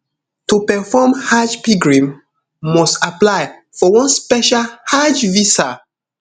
to perform hajj pilgrim must apply for one special hajj visa